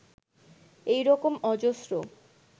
এই রকম অজস্র